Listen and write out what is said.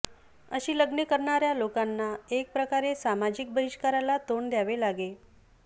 अशी लग्ने करणाऱ्या लोकांना एकप्रकारे सामाजिक बहिष्काराला तोंड द्यावे लागे